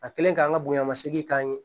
A kɛlen k'an ka bonyamasegin k'an ye